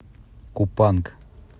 купанг